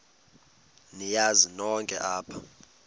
niyazi nonk apha